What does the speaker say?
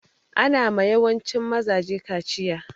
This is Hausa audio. Ana ma yawancin mazaje kachiya.